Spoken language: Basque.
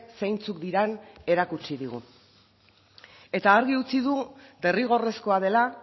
zeintzuk diren erakutsi digu eta argi utzi du derrigorrezkoa dela